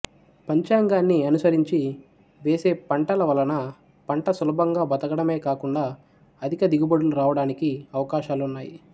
పంచాంగాన్ని అనుసరించి వేసే పంటల వలన పంట సులభంగా బతకడమే కాకుండా అధిక దిగుబడులు రావడానికి అవకాశాలున్నాయి